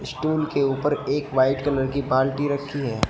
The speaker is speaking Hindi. स्टूल के ऊपर एक वाइट कलर की बाल्टी रखी है।